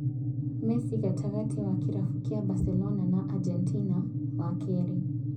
Mesi gatagatĩ wa kĩrabu kia Baselona na Agentina, wa keerĩ: